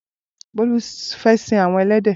Bolu fè sin awọn ẹlẹdẹ